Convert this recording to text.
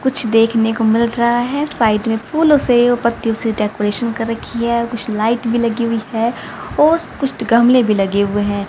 कुछ देखने को मिल रहा है साइड में फूलों से यो पत्तियों से डेकोरेशन कर रखी है कुछ लाइट भी लगी हुई है और कुछ तो गमले भी लगे हुए हैं।